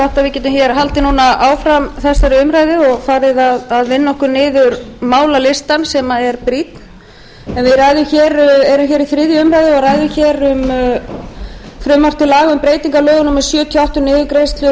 við getum núna haldið hér áfram þessari umræðu og farið að vinna okkur niður málalistann sem er brýnn en við erum hér í þriðju umræðu og ræðum hér um frumvarp til laga um breytingu á lögum númer sjötíu og átta um